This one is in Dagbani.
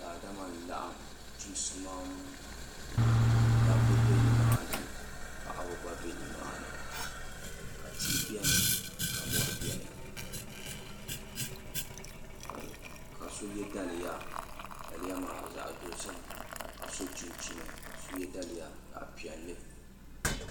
daadam n laɣim chisimaam dabba be ni maa ni paɣaba gba be ni maa ni ka tihi beni ka mɔri beni ka so ye daliya daliya maa zaɣ' dozim ka so chinchini ka so ye daliya zaɣ' piɛlli